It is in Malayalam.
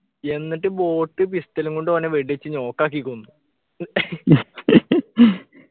എന്നിട്ട് boat pistol ഉം കൊണ്ട് ഓനെ വെടിവച്ച് knock ആക്കി കൊന്ന്